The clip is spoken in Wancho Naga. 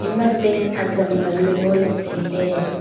ema tent azam ngan ley ngoley tai ley.